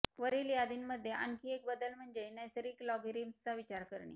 वरील यादींमध्ये आणखी एक बदल म्हणजे नैसर्गिक लॉगेरिम्सचा विचार करणे